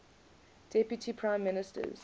deputy prime ministers